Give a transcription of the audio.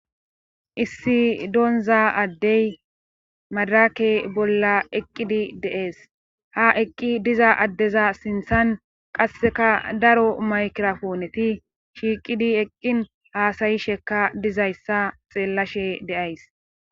issi doonza addey madrake bolla eqqidi dee'es ha eqqi diza addeza sinthan qasseka daro maykirapooneti shiiqidi eqqin haasayishekka dizayssa xeellashe de'ays